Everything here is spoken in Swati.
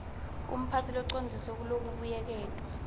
umphatsi locondziswe kulokubuyeketwa